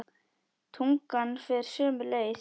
Tungan fer sömu leið.